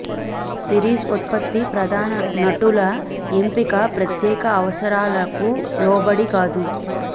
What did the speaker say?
series ఉత్పత్తి ప్రధాన నటుల ఎంపిక ప్రత్యేక అవసరాలకు లోబడి కాదు